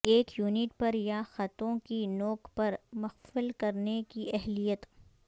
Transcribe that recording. ایک یونٹ پر یا خطوں کی نوک پر مقفل کرنے کی اہلیت